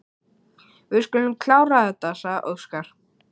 Við skulum klára þetta, sagði Óskar.